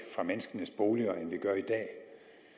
fra menneskenes boliger end vi gør i dag